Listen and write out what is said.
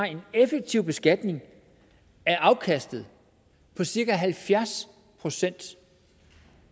en effektiv beskatning af afkastet på cirka halvfjerds procent